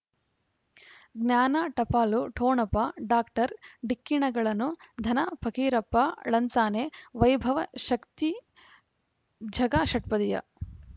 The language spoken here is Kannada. ಜ್ಞಾನ ಟಪಾಲು ಠೊಣಪ ಡಾಕ್ಟರ್ ಢಿಕ್ಕಿ ಣಗಳನು ಧನ ಫಕೀರಪ್ಪ ಳಂತಾನೆ ವೈಭವ ಶಕ್ತಿ ಝಗಾ ಷಟ್ಪದಿಯ